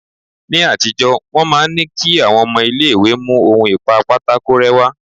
Ni àtijọ́ wọ́n máa ń ní kí àwọn ọmọ ilé ìwé mú ohun ìpa pátákó rẹ́ wá.